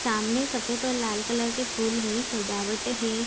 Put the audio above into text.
सामने सफ़ेद और लाल कलर के फूल है सजावट है।